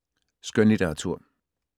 Skønlitteratur